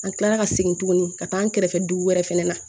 An kilala ka segin tuguni ka taa an kɛrɛfɛ dugu wɛrɛ fɛnɛ na